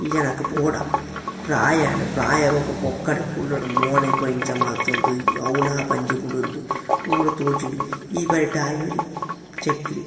ಈ ಜನಕ್ ಬೋಡ ಪ್ರಾಯ ಆಂಡ್ ಪ್ರಾಯ ಆಯಿಬೊಕ್ಕ ಪೊಕ್ಕಡೆ ಕುಲ್ಲೊಡು ಮೋನೆ ಪೂರ ಇಂಚ ಮಂತೊಂದು ಅವುಲಾ ಬಂಜಿ ಬುಡೊಂದು ಪೂರ ತೋಜುಂಡು ಈ ಬರಿಟ್ ಆಯೆ ಒರಿ ಚಕ್ರಿ.